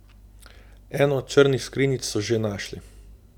Eno od črnih skrinjic so že našli.